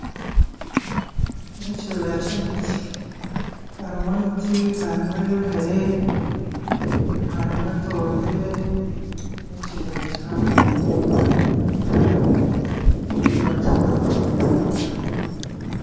Eki n'ekibira ky'emiti harimu emiti, harimu eyomire harimu etoomire n'ekibira kihango munonga nindeeba kikwataine munonga